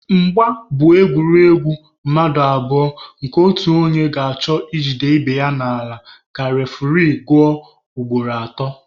Mgba bụ egwuregwu mmadụ abụọ nke otu onye ga-achọ i jide ibe ya n'ala ka refuri guzuo ugboro atọ.